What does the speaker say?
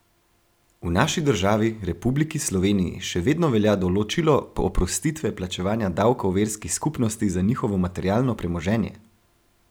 V naši državi, Republiki Sloveniji, še vedno velja določilo oprostitve plačevanja davkov verskih skupnosti za njihovo materialno premoženje!